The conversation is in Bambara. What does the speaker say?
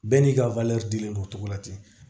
Bɛɛ n'i ka dilen don o cogo la ten